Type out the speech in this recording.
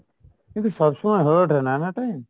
কিন্তু সবসময় হয়ে ওঠে না, না time।